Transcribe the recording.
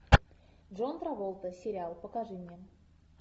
джон траволта сериал покажи мне